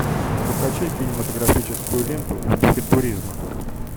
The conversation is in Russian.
закачай кинематографическую ленту в духе туризма